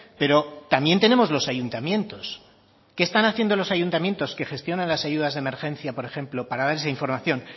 pero también tenemos los ayuntamientos qué están haciendo los ayuntamientos que gestionan las ayudas de emergencia por ejemplo para dar esa información